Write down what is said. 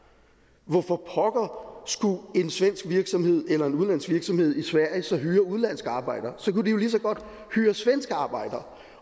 hvorfor pokker skulle en svensk virksomhed eller en udenlandsk virksomhed i sverige så hyre udenlandske arbejdere så kunne de jo lige så godt hyre svenske arbejdere